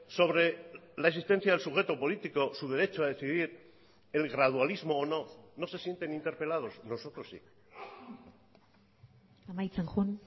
sobre la existencia del sujeto político su derecho a decidir el gradualismo o no no se sienten interpelados nosotros sí amaitzen joan